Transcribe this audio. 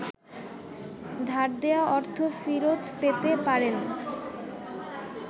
ধার দেয়া অর্থ ফেরৎ পেতে পারেন।